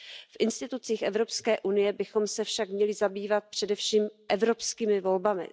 V institucích Evropské unie bychom se však měli zabývat především evropskými volbami.